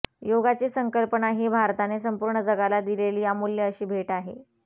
योगाची संकल्पना ही भारताने संपूर्ण जगाला दिलेली अमुल्य अशी भेट आहे